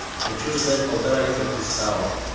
хочу заказать полтора литра кристалла